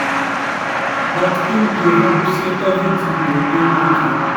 but im dey hope say evritin go dey okay.